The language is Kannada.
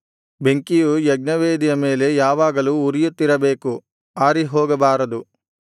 ಬೆಂಕಿಯು ಯಜ್ಞವೇದಿಯ ಮೇಲೆ ಯಾವಾಗಲೂ ಉರಿಯುತ್ತಿರಬೇಕು ಆರಿಹೋಗಬಾರದು